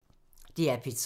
DR P3